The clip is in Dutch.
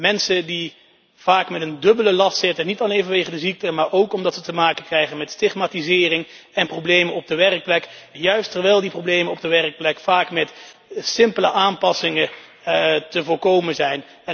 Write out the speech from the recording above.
Mensen die vaak met een dubbele last zitten, niet alleen vanwege de ziekte, maar ook omdat ze te maken krijgen met stigmatisering en problemen op de werkplek, terwijl juist die problemen op de werkplek vaak met simpele aanpassingen te voorkomen zijn.